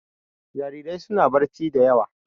Jarirai suna barci da yawa.